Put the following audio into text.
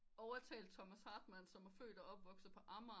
Overtalt Thomas Hartmann som er født og opvokset på Amager